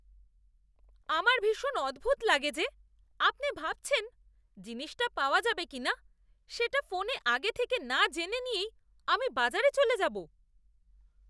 আমার ভীষণ অদ্ভুত লাগে যে আপনি ভাবছেন জিনিসটা পাওয়া যাবে কিনা সেটা ফোনে আগে থেকে না জেনে নিয়েই আমি বাজারে চলে যাব।